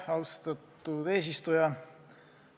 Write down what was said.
Austatud eesistuja!